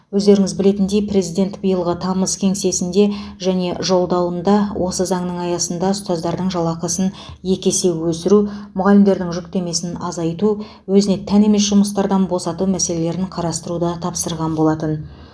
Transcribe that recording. өздеріңіз білетіндей президент биылғы тамыз кеңесінде және жолдауында осы заңның аясында ұстаздардың жалақысын екі есе өсіру мұғалімдердің жүктемесін азайту өзіне тән емес жұмыстардан босату мәселелерін қарастыруды тапсырған болатын